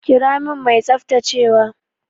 Kira min mai tsaftacewa!